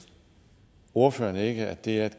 ordføreren ikke at det er